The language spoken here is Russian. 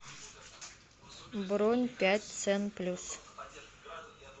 бронь пять цен плюс